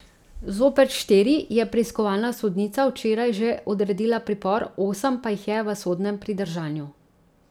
Zoper štiri je preiskovalna sodnica včeraj že odredila pripor, osem pa jih je v sodnem pridržanju.